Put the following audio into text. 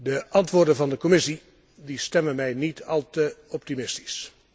De antwoorden van de Commissie stemmen mij niet al te optimistisch.